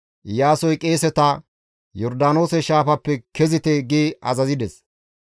Iyaasoy qeeseta, «Yordaanoose shaafappe kezite» gi azazides.